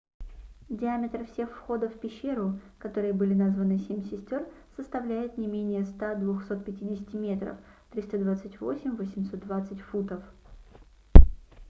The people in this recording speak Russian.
диаметр всех входов в пещеру которые были названы семь сестёр составляет не менее 100-250 метров 328-820 футов